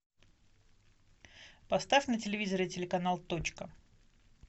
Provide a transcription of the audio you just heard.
поставь на телевизоре телеканал точка